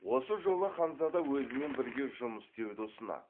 осы жолы ханзада өзімен бірге жұмыс істеуді ұсынады